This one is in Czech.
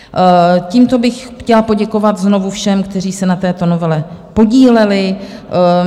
Tímto bych chtěla poděkovat znovu všem, kteří se na této novele podíleli.